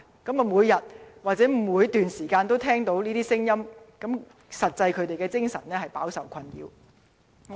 居民每天，以至無時無刻都聽到這些聲音，精神實在飽受困擾。